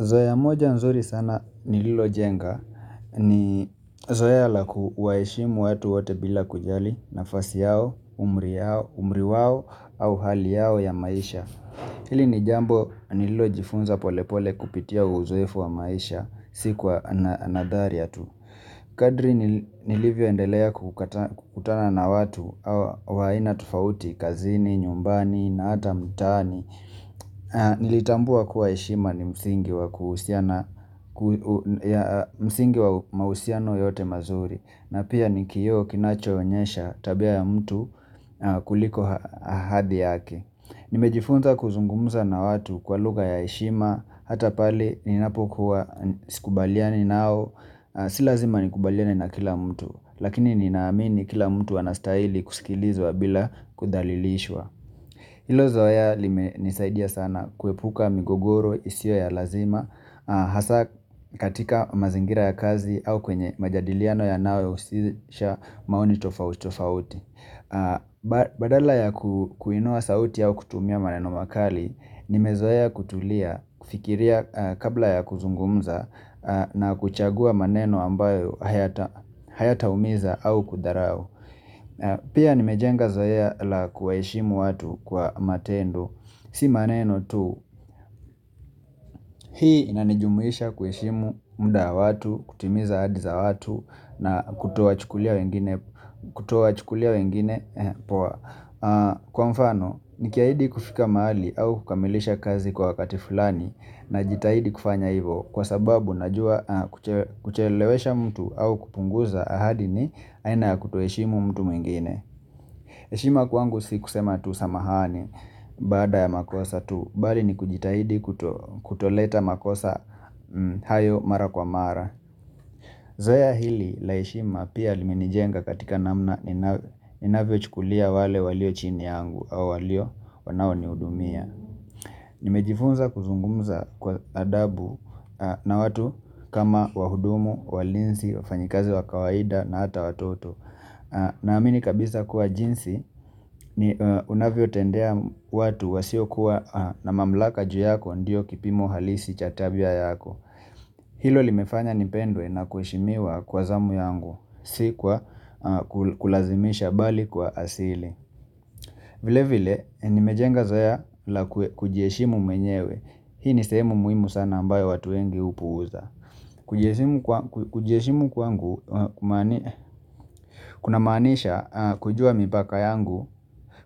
Zoea moja nzuri sana nililojenga ni zoea la kuwaheshimu watu wote bila kujali nafasi yao, umri wao, umri wao au hali yao ya maisha Hili ni jambo nililojifunza polepole kupitia uzoefu wa maisha sikuwa nadhari ya tu Kadri nilivyoendelea kukutana na watu wa aina tofauti kazini, nyumbani na hata mtaani Nilitambua kuwa heshima ni msingi wa mahusiano yote mazuri na pia ni kioo kinachonyesha tabia ya mtu kuliko hadhi yake Nimejifunza kuzungumza na watu kwa lugha ya heshima Hata pale ninapokuwa sikubaliani nao Si lazima nikubaliane na kila mtu Lakini ninamini kila mtu anastaili kusikilizwa bila kudhalilishwa Ilo zoea limenisaidia sana kuepuka migogoro isio ya lazima Hasa katika mazingira ya kazi au kwenye majadiliano yanayo ya husisha maoni tofauti Badala ya kuinua sauti au kutumia maneno makali Nimezoea kutulia fikiria kabla ya kuzungumza na kuchagua maneno ambayo hayataumiza au kudharau Pia nimejenga zoea la kuwaheshimu watu kwa matendo Si maneno tu, hii inanijumuisha kuheshimu muda wa watu, kutimiza ahadi za watu na kutowachukulia wengine poa Kwa mfano, nikiahidi kufika mahali au kukamilisha kazi kwa wakati fulani najitahidi kufanya hivo Kwa sababu najua kuchelewesha mtu au kupunguza ahadi ni aina ya kutoheshimu mtu mwingine heshima kwangu si kusema tu samahani baada ya makosa tu, bali ni kujitahidi kutoleta makosa hayo mara kwa mara Zoea hili la heshima pia limenijenga katika namna inavyochukulia wale walio chini yangu au walio wanao nihudumia Nimejifunza kuzungumza kwa adabu na watu kama wahudumu, walinzi, wafanyikazi wa kawaida na hata watoto na amini kabisa kuwa jinsi unavyotendea watu wasiokuwa na mamlaka juu yako ndiyo kipimo halisi cha tabia yako Hilo limefanya nipendwe na kueshimiwa kwa zamu yangu si kwa kulazimisha bali kwa asili vile vile nimejenga zaoe la kujiheshimu mwenyewe Hii ni sehemu muhimu sana ambayo watu wengi hupuuza Kujieshimu kwangu kunamaanisha kujua mipaka yangu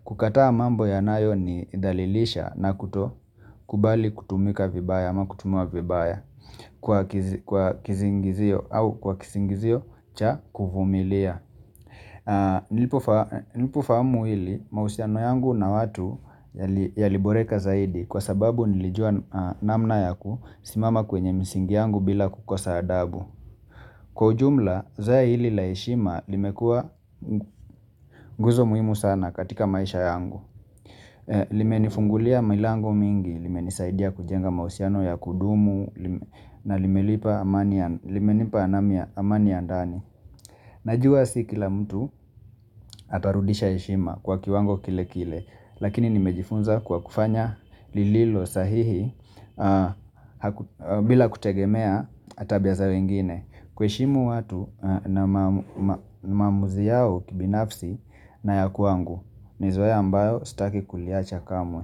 kukataa mambo yanayo ni dhalilisha na kutokubali kutumika vibaya ama kutumwa vibaya kwa kisingizio cha kuvumilia Nilipofamu hili mausiano yangu na watu yaliboreka zaidi kwa sababu nilijua namna yakusimama kwenye misingi yangu bila kukosa adabu kwa ujumla zoea hili la heshima limekua nguzo muhimu sana katika maisha yangu Lime nifungulia milango mingi, limenisaidia kujenga mausiano ya kudumu na limenipa amani ya ndani Najua si kila mtu atarudisha heshima kwa kiwango kile kile Lakini nimejifunza kwa kufanya lililo sahihi bila kutegemea tabia za wengine kuheshimu watu na maamuzi yao kibinafsi na ya kwangu ni zoea ambayo sitaki kuliacha kamwe.